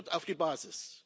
Hört auf die Basis!